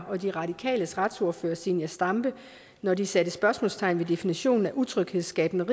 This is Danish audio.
og de radikales retsordfører zenia stampe når de satte spørgsmålstegn ved definitionen af utryghedsskabende